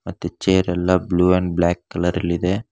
ಮತ್ತೆ ಚೇರಲ್ಲ blue and black colour ಅಲ್ಲಿ ಇದೆ.